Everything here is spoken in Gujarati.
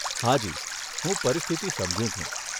હાજી, હું પરિસ્થિતી સમજું છું.